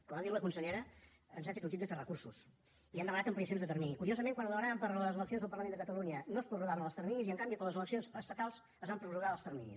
com ha dit la consellera ens hem fet un tip de fer recursos i hem demanat ampliacions de termini i curiosament quan ho demanàvem per a les eleccions del parlament de catalunya no es prorrogaven els terminis i en canvi per a les eleccions estatals es van prorrogar els terminis